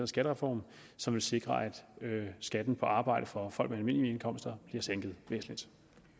skattereform som vil sikre at skatten på arbejde for folk med almindelige indkomster bliver sænket væsentligt